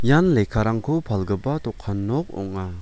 ian lekkarangko palgipa dokan nok ong·a.